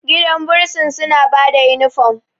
gidan bursin suna ba da inifom